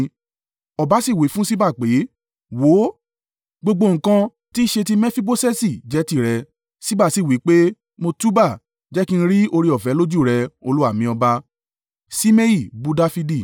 Ọba sì wí fún Ṣiba pé, “Wò ó, gbogbo nǹkan tí í ṣe ti Mefiboṣeti jẹ́ tìrẹ.” Ṣiba sì wí pé, “Mo túúbá, jẹ́ kí n rí oore-ọ̀fẹ́ lójú rẹ, olúwa mi ọba.”